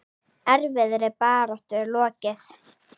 Erfiðri baráttu er lokið.